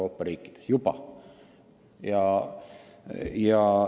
Palun lisaaega!